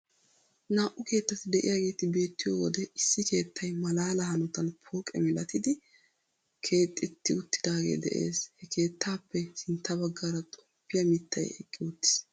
Naa"u keettati de'iyageeti beettiyo wode issi keettay malaala hanotan pooqe milatidi keexetti uttidaagee de'ees. Ha keettaappe sintta baggaara xomppiya mittay eqqi uttiis.